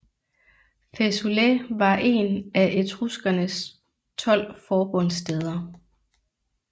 Fæsulæ var en af Etruskernes 12 forbundsstæder